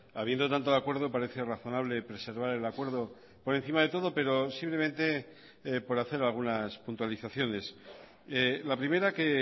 habiendo tanto de acuerdo parece razonable preservar el acuerdo por encima de todo pero simplemente por hacer algunas puntualizaciones la primera que